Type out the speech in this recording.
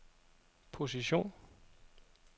position